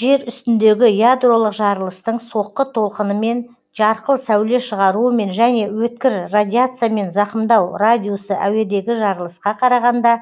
жер үстіндегі ядролық жарылыстың соққы толқынымен жарқыл сәуле шығаруымен және өткір радиациямен зақымдау радиусы әуедегі жарылысқа қарағанда